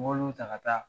N b'olu ta ka taa